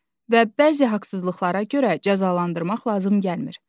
Və bəzi haqsızlıqlara görə cəzalandırmaq lazım gəlmir.